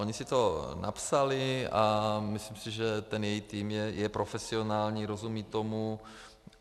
Oni si to napsali a myslím si, že ten její tým je profesionální, rozumí tomu.